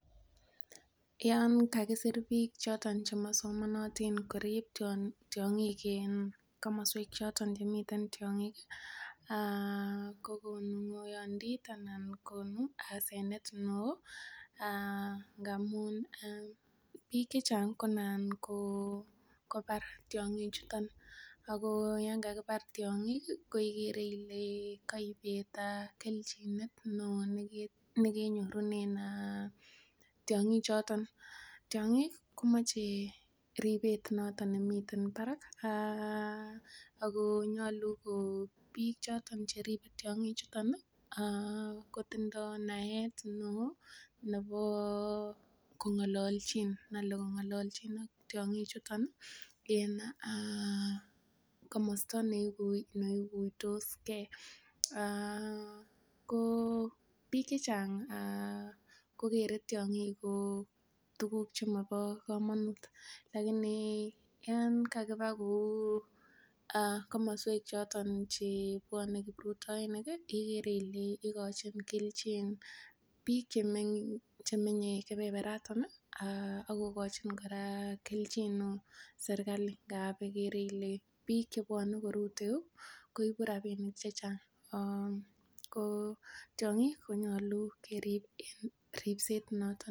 Yon kagisir biik choto chemosomonotin korib tyong'ing en komoswek choto chemi tyong'ig kogonu ng'oyondit anan konu hasenet neo ngamun biik che chang konan kobar tyon'chuto ago yon kakibar tyong'ing ko kaibet kelchin neo nekenyorunen tyong'ichoto. Tiong'ik komoche ripet noto nemiten barak, ago nyolu ko biik choto che ribe tiong'ichuto ko tindo naet neo nebo kong'alalchin ak tiong'ichuto en komosta ne iguitos ge. Biik chechang kogere tiong'ik kou tuguk che mobo komonut. Lakini yon kakiba kou komoswek choto che bwone kiprutoinik igere ile igochin kelchin biik che menye kebebarato ak kogochin kora kelchin serkalit ngab igere ile biik che bwone koruteu ireyu koibu rabinik chechang. Ko tiong'ik konyolu kerip en ripset noton nekararan.